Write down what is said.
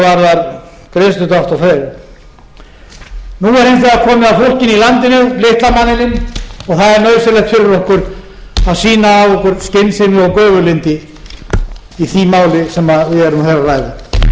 nauðsynlegt fyrir okkur að sýna af okkur skynsemi og göfuglyndi í því máli sem við erum hér að ræða